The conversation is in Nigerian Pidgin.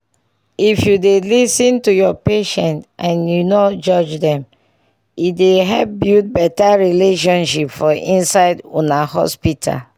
if u dey lis ten to ur patients and u nor judge dem e dey help build better relationship for inside una hospital